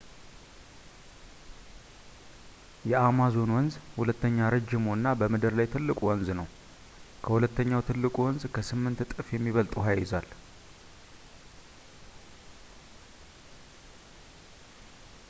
የአማዞን ወንዝ ሁለተኛ ረዥሙ እና በምድር ላይ ትልቁ ወንዝ ነው ከሁለተኛው ትልቁ ወንዝ ከ 8 እጥፍ የሚበልጥ ውሃ ይይዛል